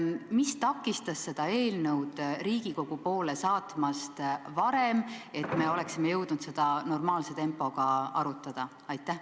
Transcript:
Mis takistas seda eelnõu Riigikogu poole saatmast varem, et me oleksime jõudnud seda normaalse tempoga arutada?